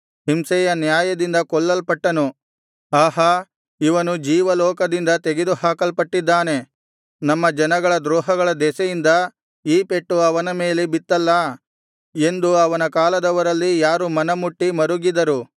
ಹಿಂಸೆಯ ನ್ಯಾಯದಿಂದ ಕೊಲ್ಲಲ್ಪಟ್ಟನು ಆಹಾ ಇವನು ಜೀವಲೋಕದಿಂದ ತೆಗೆದುಹಾಕಲ್ಪಟ್ಟಿದ್ದಾನೆ ನಮ್ಮ ಜನಗಳ ದ್ರೋಹಗಳ ದೆಸೆಯಿಂದ ಈ ಪೆಟ್ಟು ಅವನ ಮೇಲೆ ಬಿತ್ತಲ್ಲಾ ಎಂದು ಅವನ ಕಾಲದವರಲ್ಲಿ ಯಾರು ಮನಮುಟ್ಟಿ ಮರುಗಿದರು